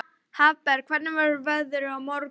Hafberg, hvernig verður veðrið á morgun?